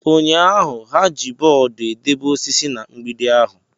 Ụnyaahụ, ha ji bọọdụ edebe osisi na mgbidi ahụ.